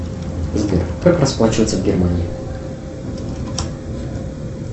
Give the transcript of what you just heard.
сбер как расплачиваться в германии